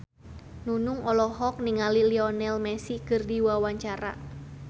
Nunung olohok ningali Lionel Messi keur diwawancara